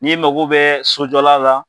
Ni mago bɛ sojɔla la